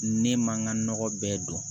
Ne man n ka nɔgɔ bɛɛ dɔn